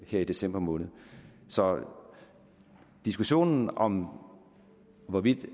her i december måned så diskussionen om hvorvidt